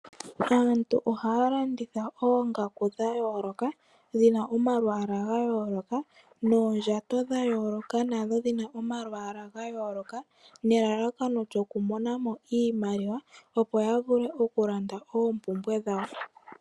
Aantu ohaya landitha oongaku dhayooloka, dhina omalwaala gayooloka, noondjato dhayooloka, nadho dhina omalwaala gayooloka, nelalakano lyoku monamo iimaliwa opo yavule okulanda oompumbwe dhawo.